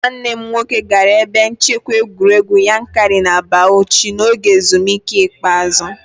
Mụ na nwanne m nwoke gara ebe nchekwa egwuregwu Yankari na Bauchi n'oge ezumike ikpeazụ